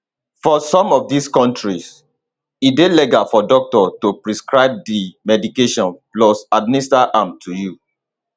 for some of dis kontris e dey legal for doctor to prescribe di medication plus administer am to you